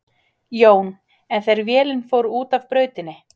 Jón: En þegar vélin fór út af brautinni?